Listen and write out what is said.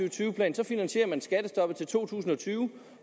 og tyve plan finansierer man skattestoppet indtil to tusind og tyve